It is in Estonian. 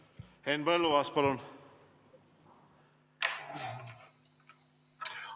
Henn Põlluaas, palun!